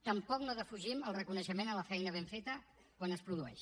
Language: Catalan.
tampoc no defugim el reconeixement de la feina ben feta quan es produeix